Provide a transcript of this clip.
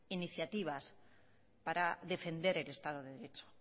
iniciativas para defender el estado de derecho